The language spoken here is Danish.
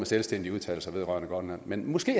selvstændige udtalelser vedrørende grønland men måske